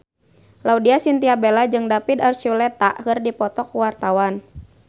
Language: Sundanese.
Laudya Chintya Bella jeung David Archuletta keur dipoto ku wartawan